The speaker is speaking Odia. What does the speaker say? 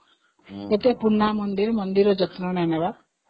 ଏତେ ପୁରୁଣା ମନ୍ଦିର ମାତ୍ର ମନ୍ଦିରର ଯତ୍ନ ନେଉନାହାନ୍ତି